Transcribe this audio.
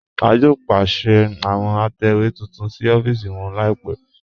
A yóò pèsè àwọn àtẹwe tuntun sí ọ̀fíìsì wọn laípẹ̀.